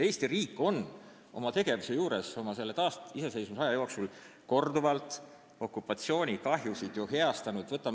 Eesti riik on oma tegevusega pärast taasiseseisvumist korduvalt ju okupatsioonikahjusid heastanud.